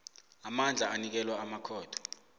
amandla anikelwa amakhotho